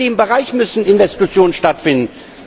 Ja, in dem Bereich müssen Investitionen stattfinden.